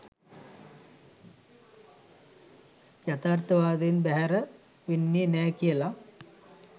යථාර්ථවාදයෙන් බැහැර වෙන්නේ නෑ කියලා.